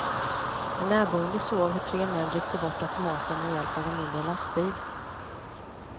En närboende såg hur tre män ryckte bort automaten med hjälp av en mindre lastbil.